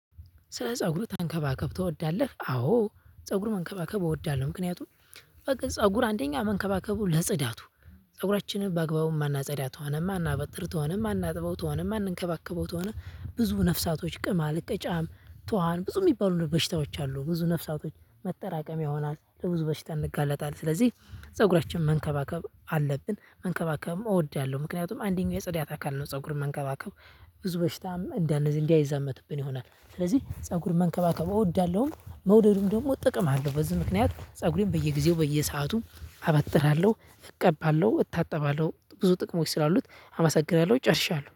ስለ ፀጉሩ ተንከባከብቶ እወዳለሁ። አዎ ፀጉሩ መንከባከብ እወዳለሁ ምክንያቱም ፀጉር አንደኛ መንከባከቡ ለጽዳቱ ፀጉራችንን በአግባቡ ማናጸዳ ትሆነማ ማናበጥር ተሆነ ማናጥበው ተሆነ ማንንከባከበው ተሆነ ብዙ ነፍሳቶች ቅማል ቅጫም ቱሃን ብዙ የሚባሉ በሽታዎች አሉ ብዙ ነፍሳቶች መጠራቀምያ ይሆናል። ለብዙ በሽታ እንጋለጣለን ስለዚህ ፀጉራችን መንከባከብ አለብን። መንከባከብም እወዳለሁ ምክንያቱም አንደኛው የጸዳት አካል ነው። ፀጉር መንከባከብ ብዙ በሽታም እንደነዚህ አይዛመትብኝ ይሆናል ስለዚህ ፀጉር መንከባከቡ እወዳለሁም። መውደዱም ደግሞ እጠቀማለሁ በዚህ ምክንያት ፀጉሬም በየጊዜው በየሰዓቱም አበጥራለሁ እቀባለሁ እታጠባለሁ ብዙ ጥቅሞች ስላሉት አመሰግናለሁ ጨርሻለሁ